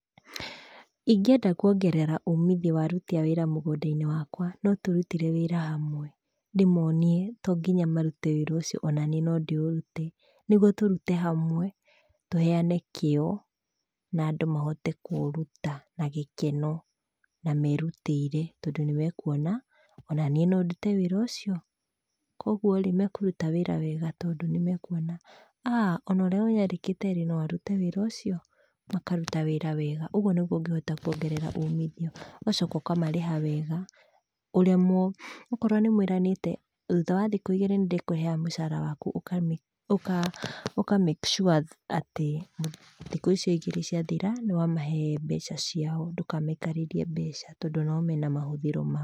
Ingĩenda kuongerera umithio wa aruti a wĩra mũgũnda-inĩ wakwa, no tũrutire wĩra hamwe, ndĩmonie to nginya marute wĩra ucio, onaniĩ no ndĩũrute, niguo tũrute hamwe, tũheane kĩo, na andũ mahote kũũruta na gĩkeno, na merutĩire, tondũ nĩmekuona onaniĩ no ndute wĩra ũcio. Kwogũo-rĩ, mekũruta wĩra wega tondũ nĩmekuona, ah ona ũrĩa ũnyandĩkĩte-rĩ, no arute wĩra ũcio, makaruta wĩra wega. Ũguo niguo ũngĩhota kuongerera umithio. Ũgacoka ũkamarĩha wega, ũrĩa mũ, okorwo nĩ mwĩranĩte, thutha wa thikũ igĩrĩ nĩ ndĩkũheaga mũcara wakũ, ũka make sure atĩ, thĩkũ icio ĩgĩrĩ ciathira, nĩ wamahe mbeca ciao, ndũkamaikarĩrie mbeca icio tondũ o nao mena mahũthĩro mao.